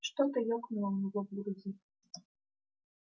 что-то ёкнуло у него в груди